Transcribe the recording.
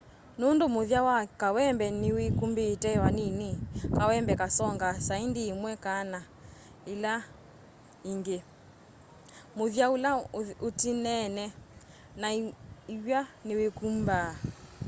nũndũ mũthya wa kawembe nĩwĩkũmbĩte vanĩnĩ kawembe kasonga saĩndĩ ĩmwe kana ĩla ĩngĩ mũthya ũla ũtĩnene na ĩw'a nĩwĩkũmbaa